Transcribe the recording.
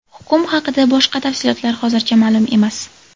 Hukm haqida boshqa tafsilotlar hozircha ma’lum emas.